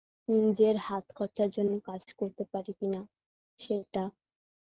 নিজের হাতখরচার জন্য কাজ করতে পারি কিনা সেইটা